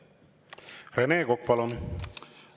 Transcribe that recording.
Rene Kokk, palun!